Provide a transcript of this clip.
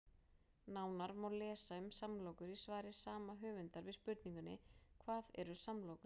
Nánar má lesa um samlokur í svari sama höfundar við spurningunni Hvað eru samlokur?